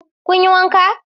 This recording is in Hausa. Kun yi wanka?